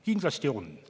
Kindlasti on.